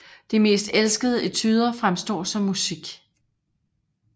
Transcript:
De mest elskede etuder fremstår som musik